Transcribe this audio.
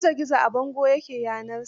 Gizo gizo a bando ya ke yanarsa.